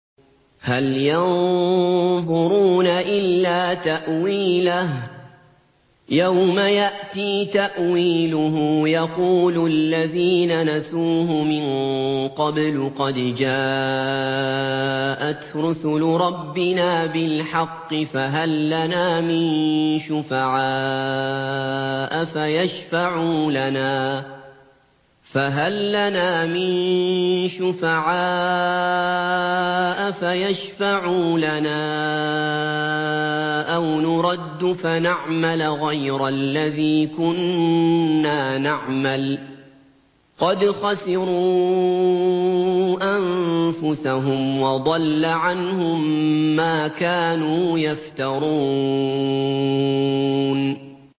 هَلْ يَنظُرُونَ إِلَّا تَأْوِيلَهُ ۚ يَوْمَ يَأْتِي تَأْوِيلُهُ يَقُولُ الَّذِينَ نَسُوهُ مِن قَبْلُ قَدْ جَاءَتْ رُسُلُ رَبِّنَا بِالْحَقِّ فَهَل لَّنَا مِن شُفَعَاءَ فَيَشْفَعُوا لَنَا أَوْ نُرَدُّ فَنَعْمَلَ غَيْرَ الَّذِي كُنَّا نَعْمَلُ ۚ قَدْ خَسِرُوا أَنفُسَهُمْ وَضَلَّ عَنْهُم مَّا كَانُوا يَفْتَرُونَ